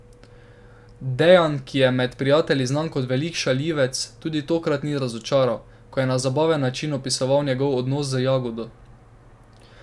Dejan, ki je med prijatelji znan kot velik šaljivec, tudi tokrat ni razočaral, ko je na zabaven način opisoval njegov odnos z Jagodo.